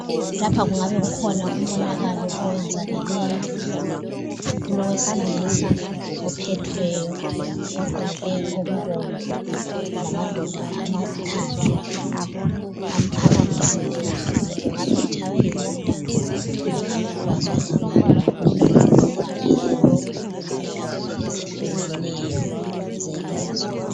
Lapha kungabe kukhona umonakalo owenzakeleyo, kulowesilisa ophethweyo ogqoke okubomvu lamadoda amathathu amphakamisileyo, kungabe etshaywe yimota kumbe engabe egwazwe ngabantu. Kuvamile lokhu endaweni ezehlukeneyo zelizwe.